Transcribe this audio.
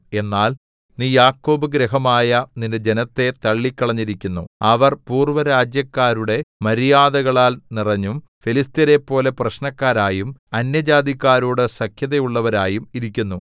എന്നാൽ നീ യാക്കോബ് ഗൃഹമായ നിന്റെ ജനത്തെ തള്ളിക്കളഞ്ഞിരിക്കുന്നു അവർ പൂർവ്വരാജ്യക്കാരുടെ മര്യാദകളാൽ നിറഞ്ഞും ഫെലിസ്ത്യരെപ്പോലെ പ്രശ്നക്കാരായും അന്യജാതിക്കാരോടു സഖ്യതയുള്ളവരായും ഇരിക്കുന്നു